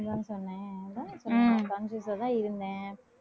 இப்பதானே சொன்னேன் conscious ஆதான் இருந்தேன்.